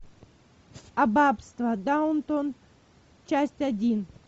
аббатство даунтон часть один